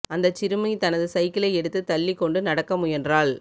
அந்தச் சிறுமி தனது சைக்கிளை எடுத்து தள்ளிக் கொண்டு நடக்க முயன்றாள்